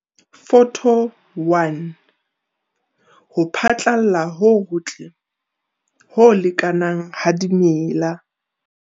Photo 1- ho phatlalla ho hotle, ho lekanang ha dimela.